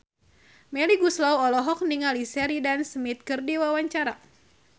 Melly Goeslaw olohok ningali Sheridan Smith keur diwawancara